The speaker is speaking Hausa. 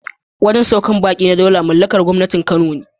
Wajen saukar baƙi na Daula mallakar gwangwanin Kano ne.